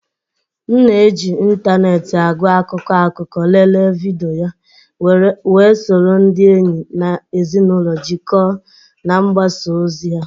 M na-eji ịntanetị agụ akụkọ akụkọ, lelee vidiyo, wee soro ndị enyi na ezinụlọ jikọọ na mgbasa ozi ọha.